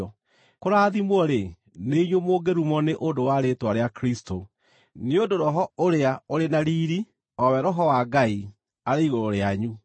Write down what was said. Kũrathimwo-rĩ, nĩ inyuĩ mũngĩrumwo nĩ ũndũ wa rĩĩtwa rĩa Kristũ, nĩ ũndũ Roho ũrĩa ũrĩ na riiri, o we Roho wa Ngai, arĩ igũrũ rĩanyu.